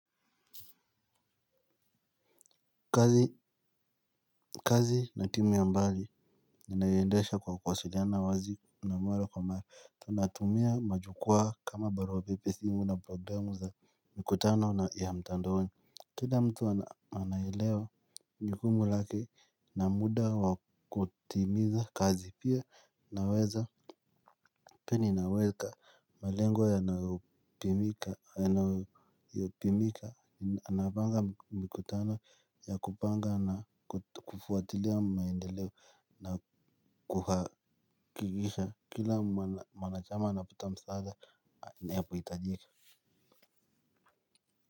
Kazi kazi na timu ya mbali inayoendesha kwa kuwasiliana wazi na mara kwa mara tunatumia majukwaa kama barua pepe simu na programu za mkutano ya mtandaoni. Kila mtu anaelewa jukumu lake na muda wakutimiza kazi pia naweza pini na weka. Malengwa yanayo pimika anapanga mkutano ya kupanga na kufuatilia maendeleo na kuhakikisha kila mwanachama anapata msaada anapohitajika.